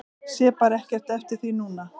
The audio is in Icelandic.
Sé bara ekkert eftir því núna.